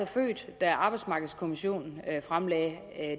født da arbejdsmarkedskommissionen fremlagde